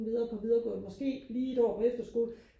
videre på videregående måske lige et år på efterskole